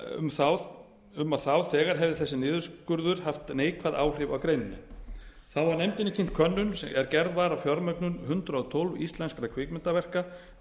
um að þá þegar hefði þessi niðurskurður haft neikvæð áhrif á greinina þá var nefndinni kynnt könnun er gerð var á fjármögnun hundrað og tólf íslenskra kvikmyndaverka